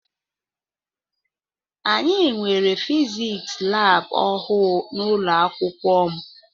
Anyị nwere fiziks lab ọhụụ n'ụlọakwụkwọ m.